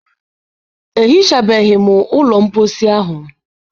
Ehichabeghị m ụlọ mposi ahụ.